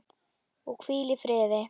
Og hvíl í friði.